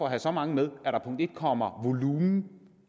at have så mange med at der punkt en kommer volumen